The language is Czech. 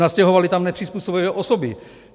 Nastěhovali tam nepřizpůsobivé osoby.